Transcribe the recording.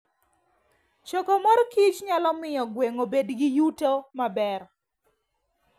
Choko mor kich nyalo miyo gweng' obed gi yuto maber.